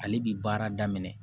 Ale bi baara daminɛ